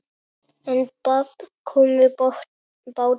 En babb kom í bátinn.